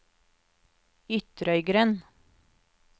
Ytrøygrend